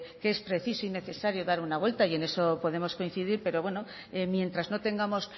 que es preciso y necesario dar una vuelta y en eso podemos coincidir pero bueno mientras no tengamos